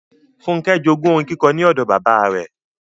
Fúnkẹ́ jogún orin kíkọ ní odò bàbáa rẹ.